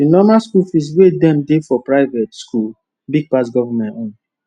the normal school fees wey dem dey for private school big pass government own